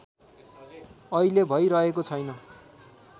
अहिले भैरहेको छैन